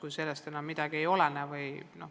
Vahest ei ole, kui sellest midagi ei olene.